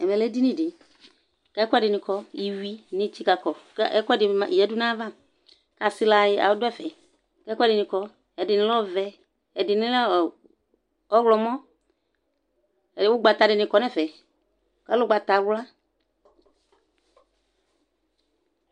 Ɛmɛ lɛ édini di kɛ ɛkuɛ dini kɔ iwui ni tsikakɔ kɛ ɛkuɛ dini yadu na ya va ka asilă du ɛfɛ kɛ ɛkuɛ dini kɔ ɛdini lɛ ɔvɛ ɛdini lɛ ɔwlɔ mɔ ugbata dini kɔ nɛ ɛfɛ ɔlɛ ugbata wla